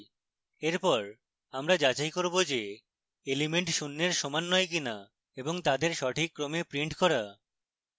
এরপর আমরা যাচাই করব যে elements শূন্যের সমান নয় কিনা এবং তাদের সঠিক ক্রমে প্রিন্ট করা